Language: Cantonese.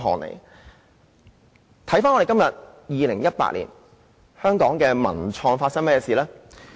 如今，就是2018年，香港的文創又如何呢？